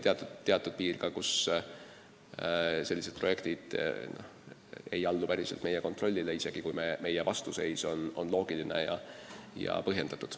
Teatud piirist alates sellised projektid ei allu meie kontrollile, isegi kui meie vastuseis on loogiline ja põhjendatud.